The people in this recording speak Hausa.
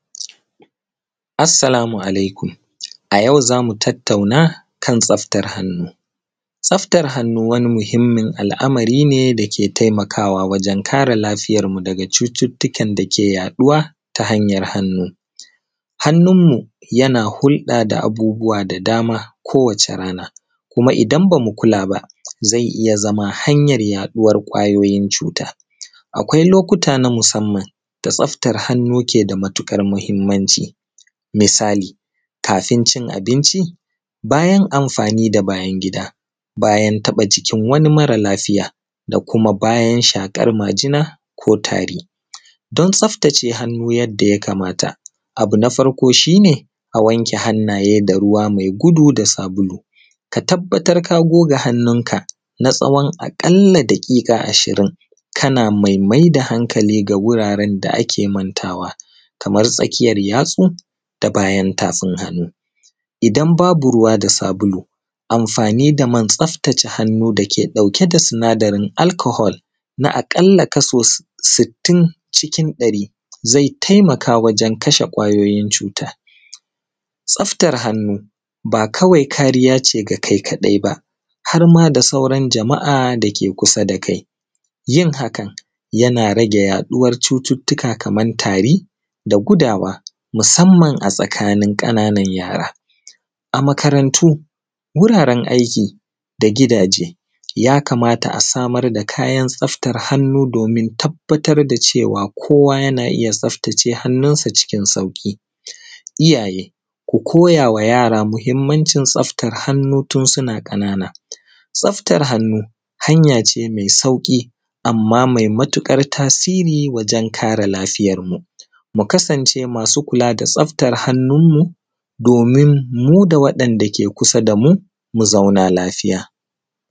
Assalamu alaikum, a yau zamuu tattauna akan tsaftar hannu. Tsaftar hannu wani muhimmin al’amari ne dakee taimakawa wajen kare lafiyar mu daga cututtuka dake yaɗuwa ta hanyar hannu. Hannunmu janaa hulɗa da abubuwa da dama kowace rana, kuma idan bamu kulaa ba zai iya zamaa hanyar yaɗuwar ƙwayoyin cu:ta. Akwai lokkuta na musamman da tsaftar hannu ke da matuƙar muhimmanci, misali; kafin cin abincin, bayan amfa:ni da bayan gida, bayan taɓa jikin wani mara lafiya da kuma bayan shaƙar majina ko tari. Don tsaftace hannu yadda ya kamata, abu na farko shi ne a wanke hannaye da ruwa mai gudu da saabulu, ka tabbatar kaa goga hannunka na tsawo aƙalla daƙiƙa ashirin kana mai mai da hankali ga wuraren da ake mantawa kamar tsakiyar yatsu da bayan tafin hannu. Idan babu ruwa da saabulu amfaani da man tsaftace hannu da ke ɗauke da sinadarin alchohol na aƙalla kaso sittin cikin ɗari zai taimaka wajen kashee ƙwayoyin cuuta. Tsaftar hannuba kawai kaariya ce ga kai kaɗai baa, har maa da sauran jama’a da ke kusa da kai. Yin hakan yana rage yaɗuwar cututtuka kamar tari da gudawa musamman a tsakanin ƙananan yaara. A makarantu wuraren aiki da gidaaje ya kamata a samar da kayan tsaftar hannu doomin tabbatar da cewa kowa yanaa iya tsaftace hannunsa cikin sauƙii. iyaaye ku kotaawa yara muhimmancin tsaftar hannu tun suna ƙanana. Tsaftar hannu hanya ce mai sauƙii amma mai matuƙar tasiri wajen kare lafiyarmu, mu kasane masu kulaa da tsaftar hannunmu doomin muu da waɗanda ke kusa da muu mu zaunaa lafiya.